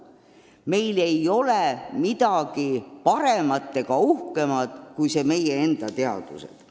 Meil ei ole midagi paremat ega uhkemat kui meie enda teadused.